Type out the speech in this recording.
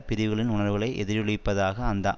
பிரிவுகளின் உணர்வுகளை எதிரொலிப்பதாக அந்த